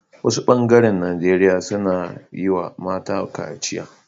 Wasu bengaren nageria suna yi wa mata kaciya